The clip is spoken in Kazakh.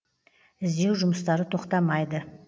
іздеу жұмыстары тоқтамайды